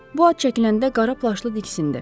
Bu ad çəkiləndə qara plaşlı diksindi.